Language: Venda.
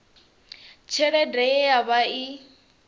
tshelede ye ya vha i